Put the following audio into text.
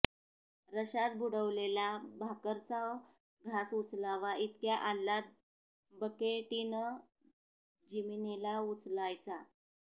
रश्यात बुडवलेला भाकरचा घास उचलावा इतक्या आल्लाद बकेटीनं जिमीनीला उचलायचा